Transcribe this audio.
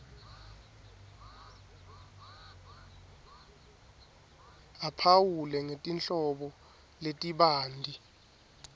aphawule ngetinhlobo letibanti